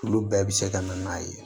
Olu bɛɛ bɛ se ka na n'a ye